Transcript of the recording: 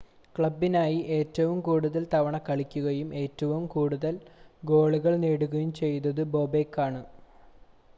ക്ലബ്ബിനായി ഏറ്റവും കൂടുതൽ തവണ കളിക്കുകയും ഏറ്റവും കൂടുതൽ ഗോളുകൾ നേടുകയും ചെയ്തിട്ടുള്ളത് ബോബെക്കാണ്